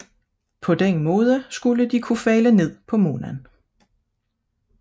På den måde skulle de kunne falde ned på månen